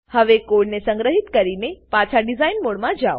હવે કોડને સંગ્રહિત કરીને પાછા ડીઝાઇન મોડમાં જાવ